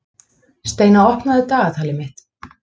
Steina, opnaðu dagatalið mitt.